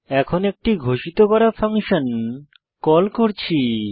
এখানে একটি ঘোষিত করা ফাংশন কল করছি